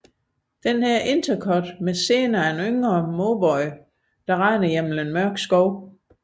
Dette intercut med scener af en yngre Mauboy løber gennem en mørk skov